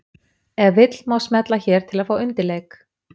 Ef vill má smella hér til að fá undirleik.